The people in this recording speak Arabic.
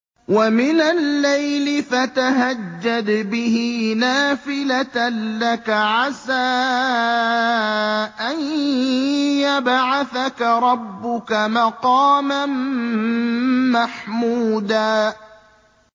وَمِنَ اللَّيْلِ فَتَهَجَّدْ بِهِ نَافِلَةً لَّكَ عَسَىٰ أَن يَبْعَثَكَ رَبُّكَ مَقَامًا مَّحْمُودًا